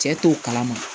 Cɛ t'o kalama